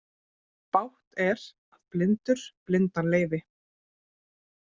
Bágt er að blindur blindan leiði.